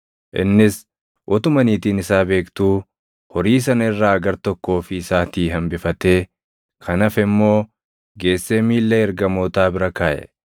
Innis utuma niitiin isaa beektuu horii sana irraa gartokko ofii isaatii hambifatee kan hafe immoo geessee miilla ergamootaa bira kaaʼe.